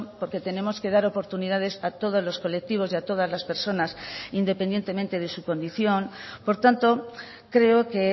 porque tenemos que dar oportunidades a todos los colectivos y a todas las personas independientemente de su condición por tanto creo que